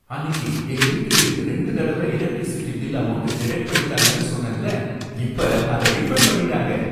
அன்னிக்கு எங்க வீட்டுக்கு ரெண்டு தடவ எலக்ட்ரிசிட்டி பில் அமவுண்ட் டிடக்ட் பண்ணிட்டாங்கன்னு சொன்னேன்ல, இப்ப அத ரீஃபன்ட் பண்ணிட்டாங்க.